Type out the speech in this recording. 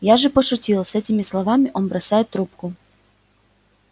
я же пошутил с этими словами он бросает трубку